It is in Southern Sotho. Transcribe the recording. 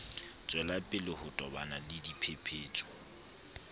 tswelapele ho tobana le dipephetso